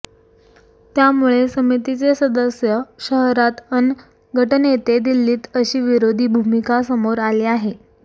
त्यामुळे समितीचे सदस्य शहरात अन् गटनेते दिल्लीत अशी विरोधी भूमिका समोर आली आहे